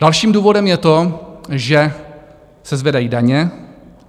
Dalším důvodem je to, že se zvedají daně.